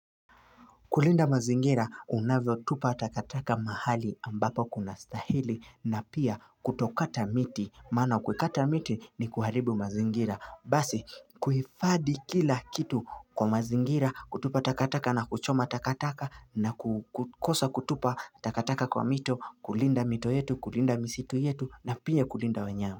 Kulinda mazingira unavyotupa takataka mahali ambapo kuna stahili na pia kutokata miti Maana kukata miti ni kuharibu mazingira Basi kuhifadhi kila kitu kwa mazingira kutupa takataka na kuchoma takataka na kukosa kutupa takataka kwa mito kulinda mito yetu kulinda misitu yetu na pia kulinda wanyama.